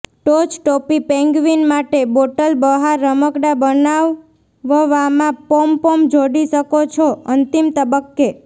ટોચ ટોપી પેન્ગ્વીન માટે બોટલ બહાર રમકડાં બનાવવામાં પોમપોમ જોડી શકો છો અંતિમ તબક્કે